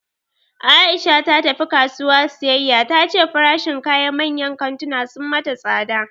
Aisha ta tafi kasuwa siyayya, ta ce farashin kayan manyan kantuna sun mata tsada